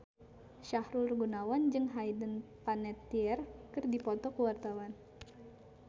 Sahrul Gunawan jeung Hayden Panettiere keur dipoto ku wartawan